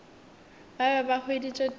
ba be ba hweditše thuto